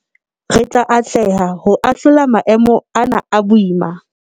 Re tla atleha ho a hlola maemo ana a boima.